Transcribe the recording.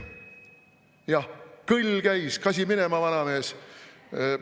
Jah, kõll käis: "Kasi minema, vanamees!